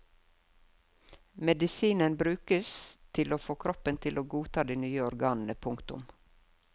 Medisinen brukes til å få kroppen til å godta de nye organene. punktum